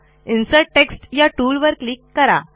insert text या टूलवर click करा